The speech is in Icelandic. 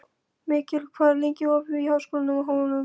Mikkel, hvað er lengi opið í Háskólanum á Hólum?